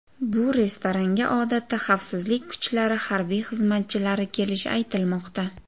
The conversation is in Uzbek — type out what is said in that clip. Bu restoranga odatda xavfsizlik kuchlari harbiy xizmatchilari kelishi aytilmoqda.